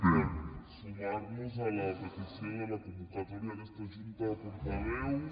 per sumar nos a la petició de la convocatòria d’aquesta junta de portaveus